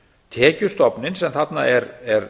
tekjustofninn sem þarna er